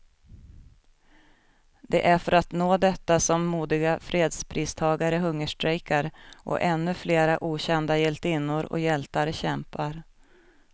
Det är för att nå detta som modiga fredspristagare hungerstrejkar, och ännu flera okända hjältinnor och hjältar kämpar.